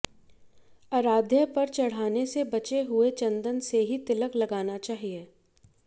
आराध्य पर चढ़ाने से बचे हुए चंदन से ही तिलक लगाना चाहिए